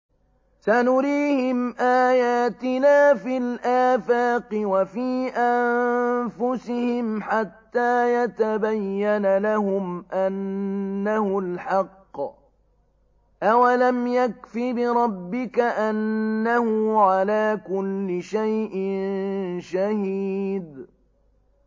سَنُرِيهِمْ آيَاتِنَا فِي الْآفَاقِ وَفِي أَنفُسِهِمْ حَتَّىٰ يَتَبَيَّنَ لَهُمْ أَنَّهُ الْحَقُّ ۗ أَوَلَمْ يَكْفِ بِرَبِّكَ أَنَّهُ عَلَىٰ كُلِّ شَيْءٍ شَهِيدٌ